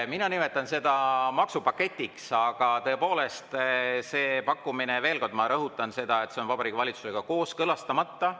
Mina nimetan seda maksupaketiks, aga tõepoolest see pakkumine, veel kord, ma rõhutan seda, on Vabariigi Valitsusega kooskõlastamata.